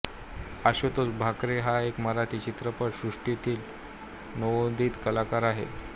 आशुतोष भाकरे हा एक मराठी चित्रपट सृष्टीतील नवोदित कलाकार होता